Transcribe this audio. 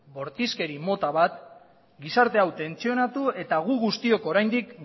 bortizkeri mota bat gizarte hau tentsionatu eta gu guztiok oraindik